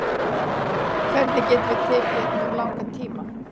Hvernig getum við tekið of langan tíma?